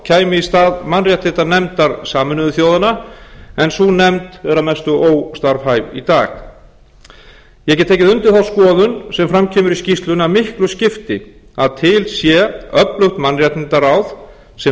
kæmi í stað mannréttindanefndar sameinuðu þjóðanna en sú nefnd er að mestu óstarfhæf í dag ég get tekið undir þá skoðun sem fram kemur í skýrslunni að miklu skipti að til sé öflugt mannréttindaráð sem